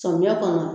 Samiyɛ kɔnɔ